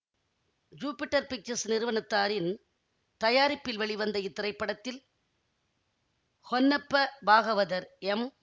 Jupiter Pictures நிறுவனத்தாரின் தயாரிப்பில் வெளிவந்த இத்திரைப்படத்தில் ஹொன்னப்ப பாகவதர் எம்